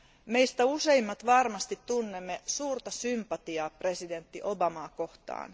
Meistä useimmat varmasti tunnemme suurta sympatiaa presidentti Obamaa kohtaan.